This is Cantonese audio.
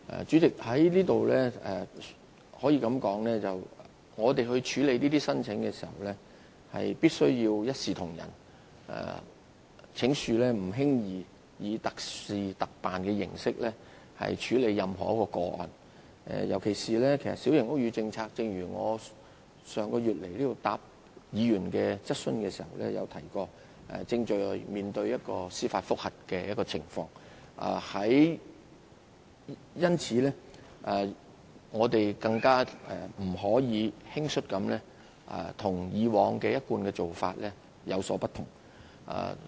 主席，在此我要指出，在處理這些申請時，必須一視同仁，請恕我們不能輕易以特事特辦的形式來處理任何一宗個案。尤其必須指出的是，正如我上月到來回答議員質詢時已提及，小型屋宇政策正面對司法覆核程序，因此，我們更不能輕率行事，偏離一貫做法。